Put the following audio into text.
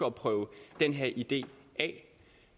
at prøve den her idé af